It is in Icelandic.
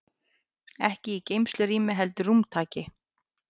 Ekki í geymslurými heldur að rúmtaki.